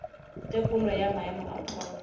tekolo ya maemo a pholo